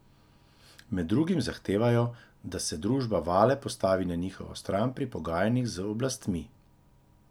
Med drugim zahtevajo, da se družba Vale postavi na njihovo stran pri pogajanjih z oblastmi.